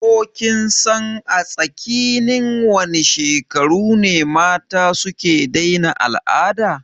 Ko kinsan a tsakinin wane shekaru ne mata suke daina al'ada?